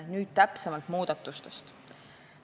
Nüüd muudatustest täpsemalt.